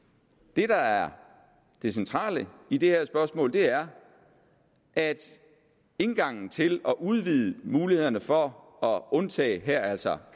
det der er det centrale i det her spørgsmål er at indgangen til at udvide mulighederne for at undtage her altså